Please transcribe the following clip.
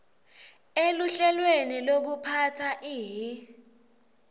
eluhlelweni lwekuphatsa ihi